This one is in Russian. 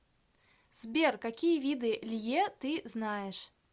сбер какие виды лье ты знаешь